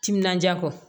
Timinandiya kɔ